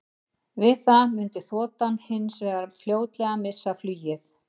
Við það mundi þotan hins vegar fljótlega missa flugið.